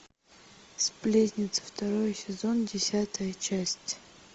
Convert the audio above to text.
сплетница второй сезон десятая часть